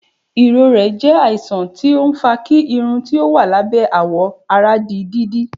ìrorẹ jẹ àìsàn tí ọ ń fà kí Irún tí ó wà lábẹ́ àwọ àrà dí dídí